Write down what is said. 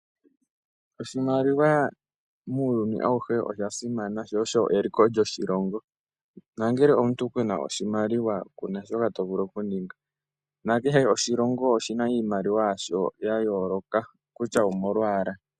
Oshimaliwa muuyuni awuhe isha simana , shoo osho eliko lyo shilongo. Nangele omuntu kuna oshimaliwa, kuna shoka tovulu okuninga. Nakehe oshilongo oshina iimaliwa yasho ya yooloka kutya omolwaala.